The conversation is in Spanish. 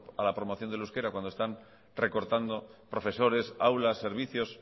a la promoción del euskera cuando están recortando profesores aulas servicios